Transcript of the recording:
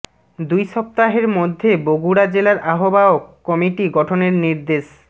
দুই সপ্তাহের মধ্যে বগুড়া জেলার আহ্বায়ক কমিটি গঠনের নির্দেশ